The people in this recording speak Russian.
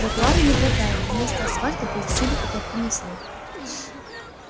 тротуары не протаяли вместо асфальта был всюду утоптанный снег